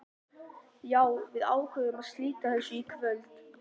Já, við ákváðum að slíta þessu í kvöld.